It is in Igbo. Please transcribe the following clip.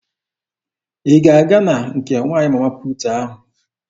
Ị ga-aga na nke nwaanyị Mama puutu ahụ?